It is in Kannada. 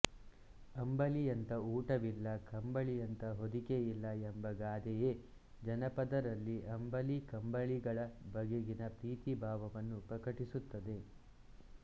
ಅಂಬಲಿಯಂತ ಊಟವಿಲ್ಲ ಕಂಬಳಿಯಂತ ಹೊದಿಕೆಯಿಲ್ಲ ಎಂಬ ಗಾದೆಯೇ ಜನಪದರಲ್ಲಿ ಅಂಬಲಿ ಕಂಬಳಿಗಳ ಬಗೆಗಿನ ಪ್ರೀತಿ ಭಾವವನ್ನು ಪ್ರಕಟಿಸುತ್ತದೆ